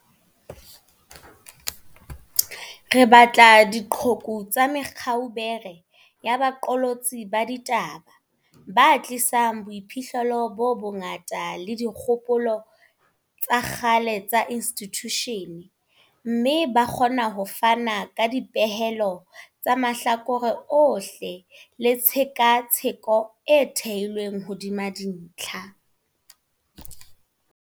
Re batla diqhoku tsa me kaubere ya baqolotsi ba di taba, ba tlisang boiphihlelo bo bongata le dikgopolo tsa kgale tsa institjushene, mme ba kgona ho fana ka dipehelo tsa mahlakore ohle le tshe katsheko e theilweng hodima dintlha.